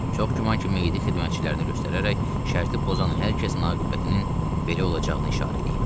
Çox güman ki, meyidi xidmətçilərinə göstərərək şərti pozan hər kəsin aqibətinin belə olacağını işarə eləyib.